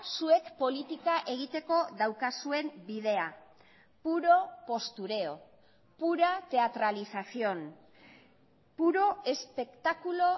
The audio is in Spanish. zuek politika egiteko daukazuen bidea puro postureo pura teatralización puro espectáculo